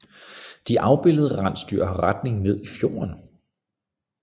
De afbildede rensdyr har retning ned i fjorden